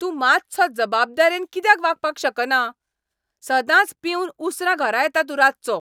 तूं मातसो जबाबदारेन कित्याक वागपाक शकना? सदांच पिवन उसरां घरा येता तूं रातचो.